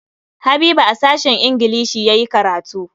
Habiba a sashen ingilishi ya yi karatu.